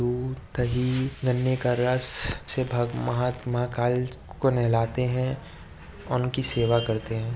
दूध दही गन्ने का रस से भग महात्मा काल को नहलाते हैं उनकी सेवा करते हैं।